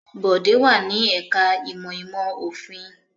Bọ̀dé wà ní ẹ̀ka-ìmọ̀ ìmọ̀-òfin.